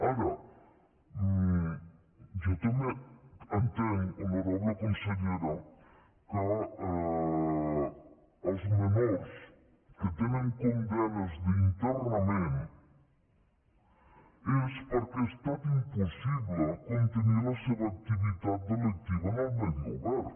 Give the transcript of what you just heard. ara jo també entenc honorable consellera que els menors que tenen condemnes d’internament és perquè ha estat impossible contenir la seva activitat delictiva en el medi obert